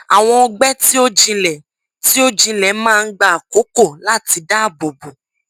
awọn ọgbẹ ti o jinlẹ ti o jinlẹ maa n gba akoko lati daabobo